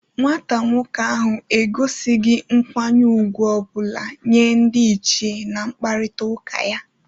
Nwata nwoke ahụ egosighi nkwanye ugwu ọ bụla nye ndị ichie na nkparịta ụka ya.